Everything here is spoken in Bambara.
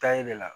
Tayi de la